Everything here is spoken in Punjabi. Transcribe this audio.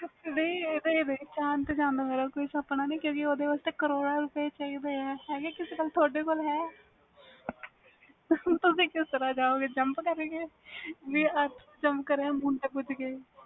ਨਹੀਂ ਚੰਦ ਤੇ ਜਾਨ ਦਾ ਕੋਈ ਸੁਪਨਾ ਨਹੀਂ ਕਿਉਕਿ ਓਹਦੇ ਲਈ ਕਰੋੜਾਂ ਪੈਸੇ ਚਾਹੀਦੇ ਨੇ ਤੁਹਾਡੇ ਕੋਲ ਹੈ ਏਨੇ ਪੈਸੇ ਤੁਸੀ ਕਿਸ ਤਰਾਂ ਜਾਓ ਗਏ jump ਕਰਕੇ